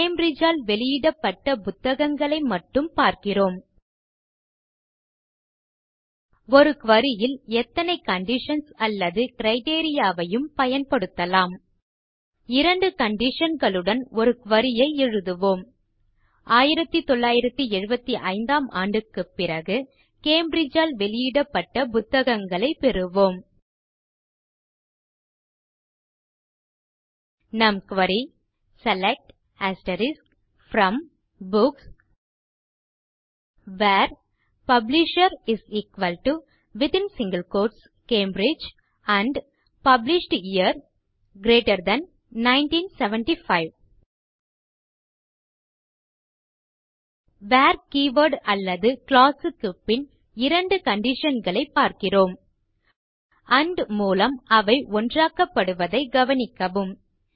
Cambridge ஆல் வெளியிடப்பட்ட புத்தகங்களை மட்டும் பார்க்கிறோம் ஒரு குரி ல் எத்தனை கண்டிஷன்ஸ் அல்லது கிரைட்டீரியா வையும் பயன்படுத்தலாம் இரண்டு கண்டிஷன் களுடன் ஒரு குரி ஐ எழுதுவோம் 1975 ம் ஆண்டுக்குப் பிறகு கேம்பிரிட்ஜ் ஆல் வெளியிடப்பட்ட புத்தகங்களை பெறுவோம் நம் query160 select from books where publisher Cambridge and publish year GT 1975 where keyword அல்லது க்ளாஸ் க்கு பின் இரண்டு கண்டிஷன் களைப் பார்க்கிறோம் ஆண்ட் மூலம் அவை ஒன்றாக்கப்படுவதை கவனிக்கவும்